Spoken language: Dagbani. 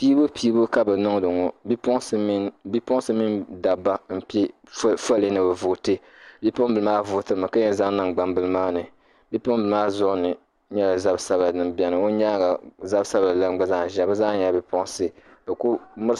Piibupiibu ka bɛ niŋdi ŋɔ bipuɣinsi mini dabba m-pe fooli ni bɛ vooti bipuɣimbila maa vootimi ka yɛn zaŋ niŋ gbambila maa ni bipuɣimbila maa zuɣu ni zab' sabila din beni o nyaaŋa gba nyɛla zab' sabila gba zaa zaya bɛ zaa nyɛla bipuɣinsi bɛ kuli mirisi.